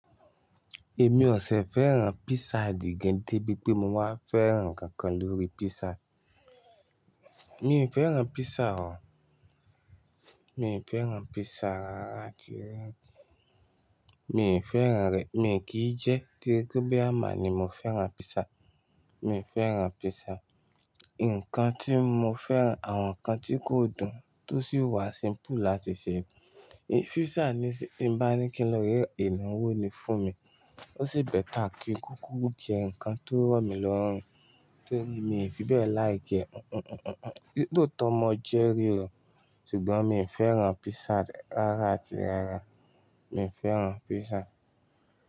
Èmi ò sẹ fẹ́ràn pizza dìgẹ de bí pé mo wá fẹ́ràn nǹkan kan lórí pizza. Mi fẹ́ràn pizza o. Mi fẹ́ràn pizza rárá àti mi fẹ́ràn rẹ̀. Mi kì í jẹ ti debí pé boya màa ni mo fẹ́ràn pizza. Mi fẹ́ràn pizza. Ǹkan tí mo fẹ́ràn àwọn nǹkan tí kò dùn tó sì wà simple láti se. Pizza nisin tí n bá ní kí n lọ re ra ìnáwó ni fún mi. Ó sì bẹ́ta kí kúkú jẹ́ ǹkan tó rọ̀ mí lọ́rùn. Tó rí mi fi bẹ́ẹ̀ like ẹ. Lootọ mọ jẹ́ rí o, ṣùgbọ́n mi fẹ́ràn pizza rárá àti rárá. Mi ò fẹ́ràn pizza.